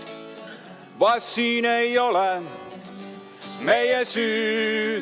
Vast siin ei ole meie süüd.